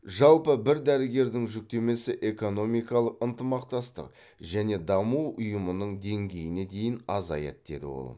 жалпы бір дәрігердің жүктемесі экономикалық ынтымақтастық және даму ұйымының деңгейіне дейін азаяды деді ол